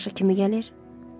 Tamaşa kimi gəlir?